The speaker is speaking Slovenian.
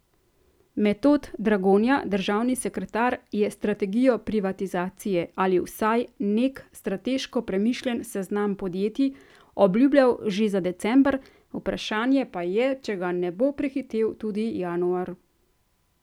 Metod Dragonja, državni sekretar je strategijo privatizacije, ali vsaj nek strateško premišljen seznam podjetij, obljubljal že za december, vprašanje pa je, če ga ne bo prehitel tudi januar.